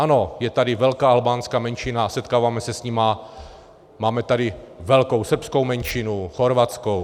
Ano, je tady velká albánská menšina, setkáváme se s nimi, máme tady velkou srbskou menšinu, chorvatskou.